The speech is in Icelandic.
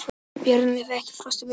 Bjarnleifur, ekki fórstu með þeim?